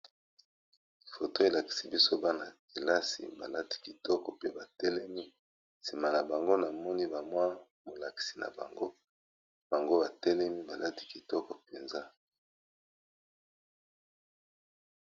Photo elakisi biso bana kelasi balati kitoko pe batelemi, sima na bango na moni bamwa molakisi na bango bango batelemi baladi kitoko mpenza.